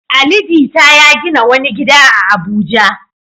Ali Jita ya gina wani gida a Abuja.